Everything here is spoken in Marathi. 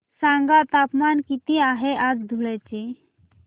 सांगा तापमान किती आहे आज धुळ्याचे